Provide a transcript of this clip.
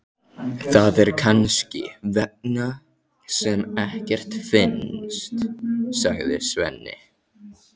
Það er kannski þess vegna sem ekkert finnst, sagði Svenni.